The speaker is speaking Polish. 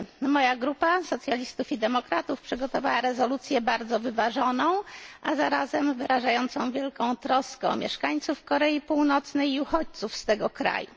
Moja grupa socjalistów i demokratów przygotowała rezolucję bardzo wyważoną, a zarazem wyrażającą wielką troskę o mieszkańców Korei Północnej i uchodźców z tego kraju.